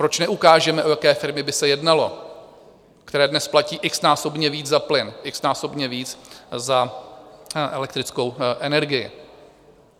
Proč neukážeme, o jaké firmy by se jednalo, které dnes platí x-násobně víc za plyn, x-násobně víc za elektrickou energii?